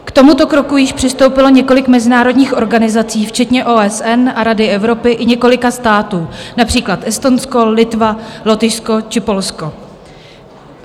K tomuto kroku již přistoupilo několik mezinárodních organizací včetně OSN a Rady Evropy i několika států, například Estonsko, Litva, Lotyšsko či Polsko.